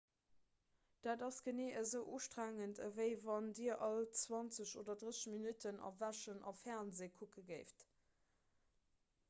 dat ass genee esou ustrengend ewéi wann dir all 20 oder 30 minutten erwächen a fernsee kucke géift